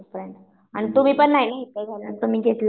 आणि तुम्ही पण नाही ना इथं घेतला